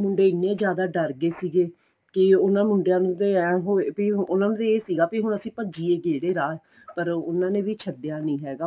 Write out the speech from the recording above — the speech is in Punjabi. ਮੁੰਡੇ ਇੰਨੇ ਜਿਆਦਾ ਡਰ ਗਏ ਸੀਗੇ ਕੀ ਉਹਨਾ ਮੁੰਡਿਆ ਨੂੰ ਤੇ ਐ ਹੋਵੇ ਵੀ ਉਹਨਾ ਨੂੰ ਤਾਂ ਇਹ ਸੀਗਾ ਵੀ ਅਸੀਂ ਭੱਜੀਏ ਕਿਹੜੇ ਰਾਹ ਪਰ ਉਹਨਾ ਨੇ ਵੀ ਛੱਡਿਆ ਨਹੀਂ ਹੈਗਾ